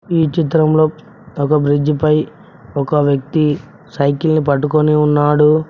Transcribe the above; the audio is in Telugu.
ఈ చిత్రంలో ఒక బ్రిడ్జిపై ఒక వ్యక్తి సైకిల్ పట్టుకొని ఉన్నాడు.